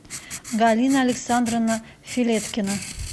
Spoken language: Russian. галина александровна филеткина